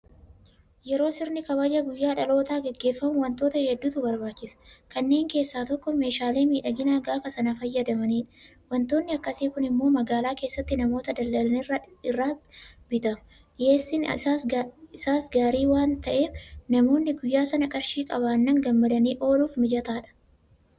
Yeroo sirni kabaja guyyaa dhalootaa gaggeeffamu waantota hedduutu barbaachisa. Kanneen keessaa tokko meeshaalee miidhaginaa gaafa sana fayyadamanidha. Waantonni akkasii kun immoo magaalaa keessatti namoota daldalan irraa bitama. Dhiyeessiin isaas gaarii waanta ta'eef namoonni guyyaa sana qarshii qabaannaan gammadanii ooluuf mijataadha.